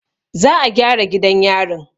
Za a gyara gidan yarin.